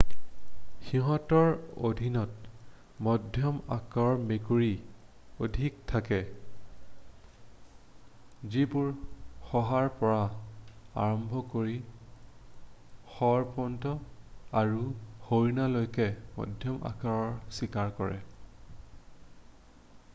সিহঁতৰ অধীনত মধ্যম আকাৰৰ মেকুৰী অধিক থাকে যিবোৰে শহাৰ পৰা আৰম্ভ কৰি শৰপহু আৰু হৰিণালৈকে মধ্যম আকাৰৰ চিকাৰ কৰে